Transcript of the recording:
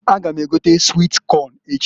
A ga m egota swit Kọn echi.